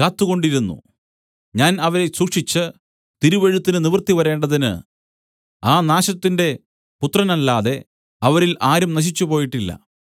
കാത്തുകൊണ്ടിരുന്നു ഞാൻ അവരെ സൂക്ഷിച്ച് തിരുവെഴുത്തിന് നിവൃത്തി വരേണ്ടതിന് ആ നാശത്തിന്റെ പുത്രനല്ലാതെ അവരിൽ ആരും നശിച്ചുപോയിട്ടില്ല